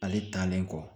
Ale taalen kɔ